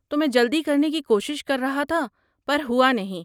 تو میں جلدی کرنے کی کوشش کر رہا تھا پر ہوا نہیں۔